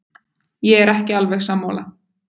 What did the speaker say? Ég er ekki alveg sammála.